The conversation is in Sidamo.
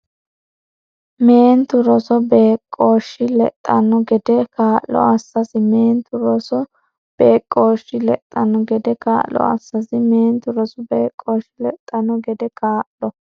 Meentu rosu beeqqooshshi lexxanno gede kaa’lo assasi Meentu rosu beeqqooshshi lexxanno gede kaa’lo assasi Meentu rosu beeqqooshshi lexxanno gede kaa’lo.